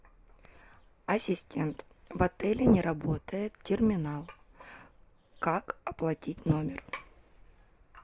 ассистент в отеле не работает терминал как оплатить номер